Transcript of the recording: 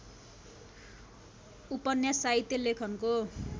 उपन्यास साहित्य लेखनको